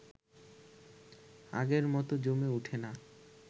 আগের মতো জমে উঠে না